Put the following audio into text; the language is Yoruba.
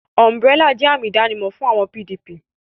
Umburélà jẹ́ àmì ìdánimọ̀ àwọn PDP